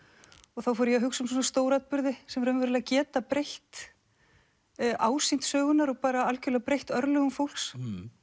og þá fór ég að hugsa um svona stóratburði sem raunverulega geta breytt ásýnd sögunnar og algjörlega breytt örlögum fólks